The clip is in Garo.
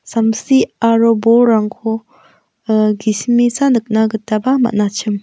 samsi aro bolrangko ah gisimesa nikna gitaba man·achim.